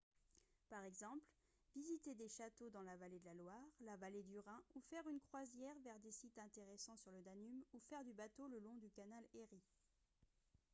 par exemple visiter des châteaux dans la vallée de la loire la vallée du rhin ou faire une croisière vers des sites intéressants sur le danube ou faire du bateau le long du canal erie